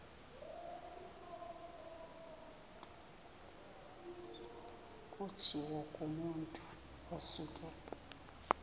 kutshiwo kumotu osuke